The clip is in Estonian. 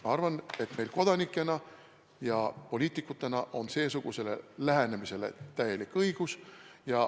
Ma arvan, et meil kodanikena ja poliitikutena on seesugusele lähenemisele täielik õigus.